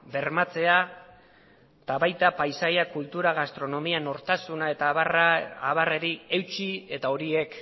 bermatzea eta baita paisaia kultura gastronomia nortasuna eta abarrei eutsi eta horiek